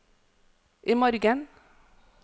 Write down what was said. imorgen